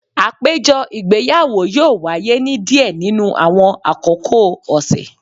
Apejọ igbeyawo yoo waye ni diẹ ninu awọn akoko ọsẹ